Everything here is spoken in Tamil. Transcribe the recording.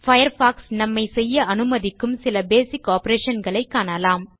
பயர்ஃபாக்ஸ் நம்மை செய்ய அனுமதிக்கும் சில பேசிக் ஆப்பரேஷன் களை காணலாம்